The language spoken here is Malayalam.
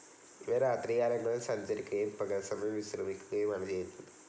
ഇവ രാത്രി കാലങ്ങളിൽ സഞ്ചരിക്കുകയും പകൽ സമയം വിശ്രമിക്കുകയുമാണ് ചെയ്യുന്നത്.